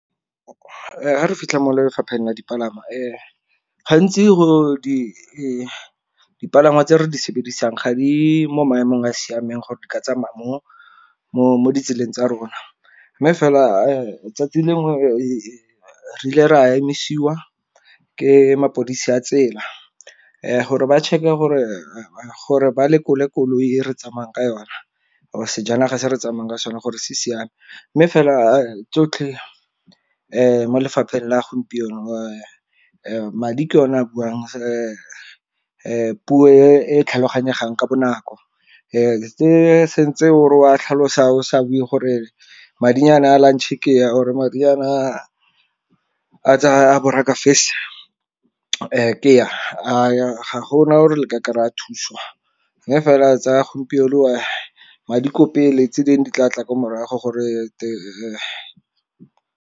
Ga re fitlha mo lefapheng la dipalangwa gantsi go di dipalangwa tse re di sebedisa ga di mo maemong a a siameng gore di ka tsamaya mo ditseleng tsa rona, mme fela 'tsatsi lengwe re ile re a emisiwa ke mapodisi a tsela gore ba check-e gore ba lekole koloi e re tsamayang ka yona or-e sejanaga se re tsamaya ka sona gore se siame. Mme fela a tsotlhe mo lefapheng la gompieno madi ke one a buang puo e tlhaloganyegang ka bonako. Se se ntse o re wa tlhalosa o sa bue gore madinyana a lunch ke a or-e madinyana a tsa ke a ga gona gore le ka kry-a thuso. Mme fela tsa gompieno madi ko pele tse dingwe di tla tla kwa morago gore .